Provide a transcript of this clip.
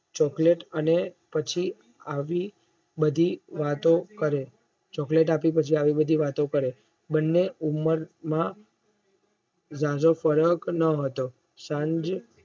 Chocolate અને પછી આવી બધી વાતો કરે Chocolate આપી અને પછી આવી બધી વાતો કરે બંને ઉંમરમાં જાજો ફરક ના હતો સાંજ